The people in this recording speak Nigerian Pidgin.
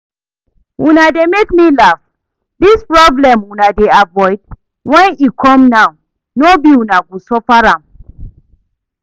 Una dey make me laugh, dis problem una dey avoid, when e come now no be una go suffer am?